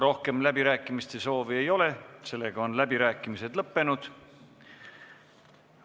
Rohkem läbirääkimiste soove ei ole, sellega on läbirääkimised lõppenud.